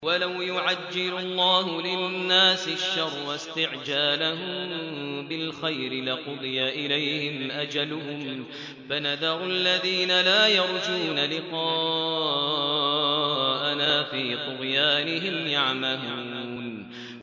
۞ وَلَوْ يُعَجِّلُ اللَّهُ لِلنَّاسِ الشَّرَّ اسْتِعْجَالَهُم بِالْخَيْرِ لَقُضِيَ إِلَيْهِمْ أَجَلُهُمْ ۖ فَنَذَرُ الَّذِينَ لَا يَرْجُونَ لِقَاءَنَا فِي طُغْيَانِهِمْ يَعْمَهُونَ